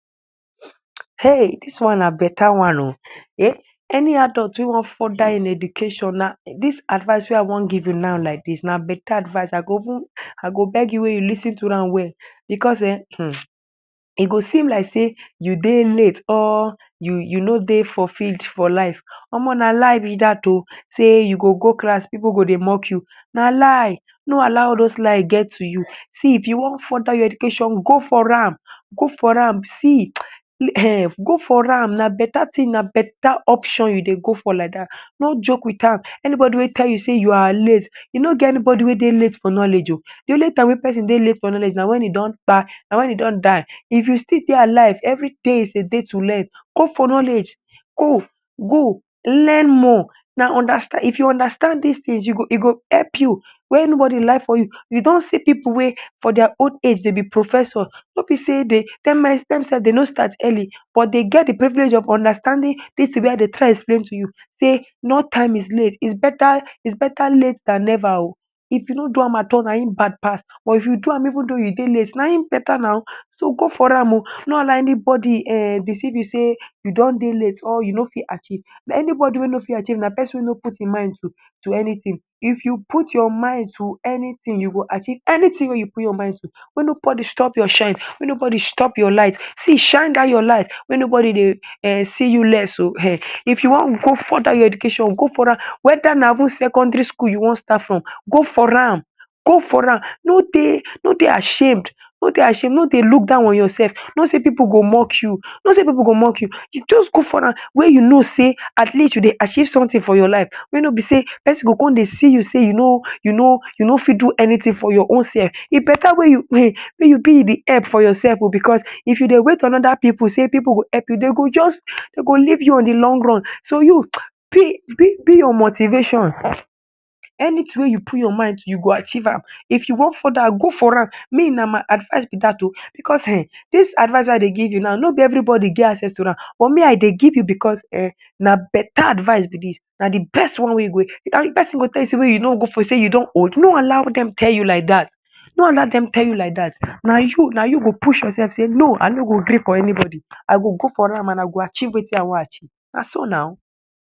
Ei! Dis one na beta one oh. Eh, any adult wey wan further ein education na dis advice wey I wan give you nau like dis, na beta advice. I go even I go beg you wey you lis ten to well am becos eh um e go seem like sey you dey late or you you no dey fulfilled for life. Omoh na lie be dat oh. Sey you go go class pipu go dey mock you. Na lie! No allow all dos lie get to you. See, if you wan further your education, go for am, go for am. See um go for am na beta tin, na beta option you dey go for like dat. No joke with am. Anybodi wey tell you sey you are late, e no get anybodi wey dey late for knowledge oh. Di only time wen pesin dey late for knowledge na wen e don kpai, na wen e don die. If you still dey alive, every day is a day to learn. Go for knowledge! Go. Go. Learn more. Na understand if you understand dis tins you go e go help you. Make nobodi lie for you. You don see pipu wey for dia old age de be professor. No be sey de dem sef de no start early but de get di privilege of understanding dis tin wey I dey try explain to you sey no time is late. It's beta it's beta late than neva oh. If you no do am at all na ein bad pass, but if you do am even though you dey late, na ein beta nau. So, go for am oh. No allow anybodi um deceive you sey you don dey late or you no fit achieve. Anybodi wey no fit achieve na pesin wey no put ein mind to to anytin. If you put your mind to anytin you go achieve anytin wey you put your mind to. Make nobodi stop your shine, make nobodi stop your light. See, shine dat your light make nobodi dey um see you less oh um. If you wan go further your education, go for an. Whether na even secondary school you wan start from, go for am! Go for am! No dey no dey ashamed. No dey ashame, no dey look down on yoursef. No say pipu go mock you. No say pipu go mock you. You juz go for am wey you know sey at least you dey achieve sumtin for your life wey no be sey pesin go con dey see you sey you no you no you no fit do anytin for your own sef. E beta wey you um wey you be di help for yoursef oh becos if you dey wait for on other pipu sey pipu go help you, de go juz de go leave you on di long run. So you, be be be your motivation. Anytin wey you put your mind to you go achieve am. If you wan further, go for an. Me na my advice be dat oh. Becos um dis advice wey I dey give you nau, no be everybodi get access to am. But me I dey give you becos na beta advice be dis. Na di best one wey you go pesin go tell you sey wey you no go for sey you don old, no allow dem tell you like dat. No allow dem tell you like dat. Na you na you go push yoursef sey no I go gree for anybodi. I go go for am an I go achieve wetin I wan achieve. Na so nau.